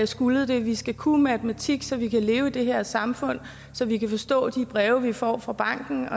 skullet det vi skal kunne matematik så vi kan leve i det her samfund så vi kan forstå de breve vi får fra banken